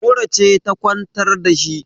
mura ce ta kwantar da shi